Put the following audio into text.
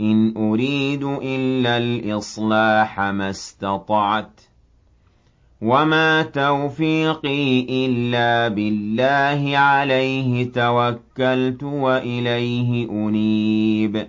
إِنْ أُرِيدُ إِلَّا الْإِصْلَاحَ مَا اسْتَطَعْتُ ۚ وَمَا تَوْفِيقِي إِلَّا بِاللَّهِ ۚ عَلَيْهِ تَوَكَّلْتُ وَإِلَيْهِ أُنِيبُ